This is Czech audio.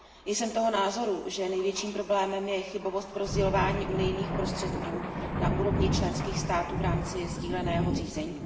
Jsem toho názoru, že největším problémem je chybovost v rozdělování unijní prostředků na úrovni členských států v rámci sdíleného řízení.